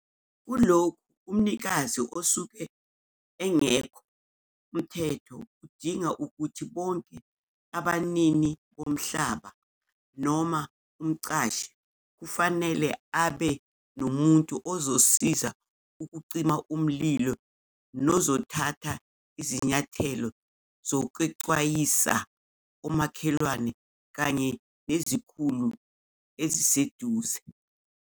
Kulokhu umnikazi osuke engekho, uMthetho udinga ukuthi bonke abaninini bomhlaba noma umqashi kufanele abe nomuntu ozosiza ukucima umlilo nozothatha izinyathelo zokexwayisa omakhelwane kanye nezikhulu eziseduze.